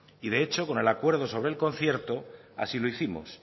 y de hecho con el acuerdo sobre el concierto así lo hicimos